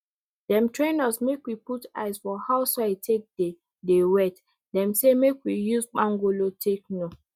dem train us make we put eyes for how soil take dey dey wet dem say make we use kpangolo take know